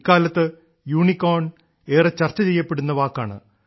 ഇക്കാലത്ത് യൂണിക്കോൺ ഏറെ ചർച്ച ചെയ്യപ്പെടുന്ന വാക്കാണ്